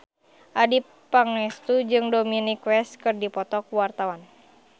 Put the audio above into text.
Adjie Pangestu jeung Dominic West keur dipoto ku wartawan